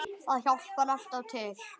Það hjálpar alltaf til.